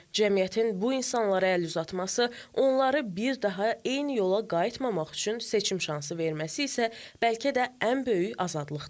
Cəmiyyətin bu insanlara əl uzatması, onları bir daha eyni yola qayıtmamaq üçün seçim şansı verməsi isə, bəlkə də ən böyük azadlıqdır.